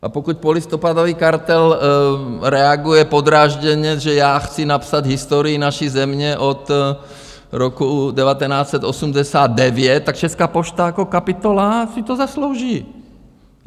A pokud polistopadový kartel reaguje podrážděně, že já chci napsat historii naší země od roku 1989, tak Česká pošta jako kapitola si to zaslouží.